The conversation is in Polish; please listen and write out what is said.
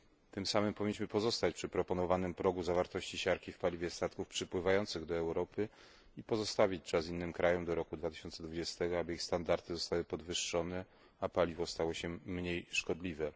Tym samym powinniśmy pozostać przy proponowanym progu zawartości siarki w paliwie statków przypływających do Europy i pozostawić czas innym krajom do roku 2020, aby ich standardy zostały podwyższone, a paliwo stało się mniej szkodliwe.